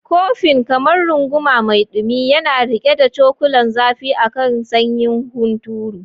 Kofin, kamar runguma mai dumi, yana riƙe da cakulan zafi a kan sanyin hunturu.